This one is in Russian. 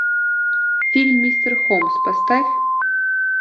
фильм мистер холмс поставь